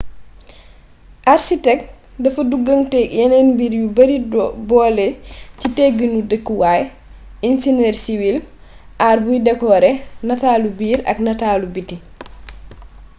arsitek dafa duggaanteeg yeneen mbir yu bare boole ci tegginu dëkkuwaay inseñër siwil aar buy dekoore nataalu biir ak nataalu biti